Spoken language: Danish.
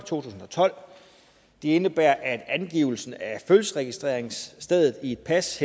tusind og tolv og de indebærer at angivelsen af fødselsregistreringsstedet i et pas